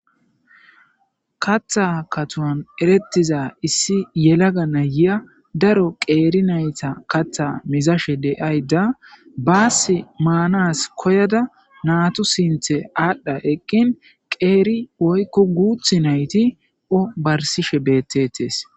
katha kathon erettiza issi yelaga nayiya daro qeeri nayta katha mizashe deayda baas maanas koyada naatu sinthe aadhdha eqqin qeeri woykko guuth nayti barsishe beettetes